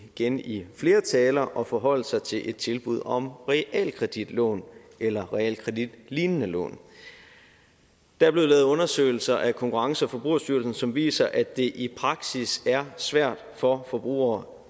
igen i flere taler at forholde sig til et tilbud om realkreditlån eller realkreditlignende lån der er blevet lavet undersøgelser af konkurrence og forbrugerstyrelsen som viser at det i praksis er svært for forbrugere